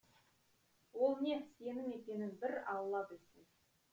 ол не сенім екенін бір алла білсін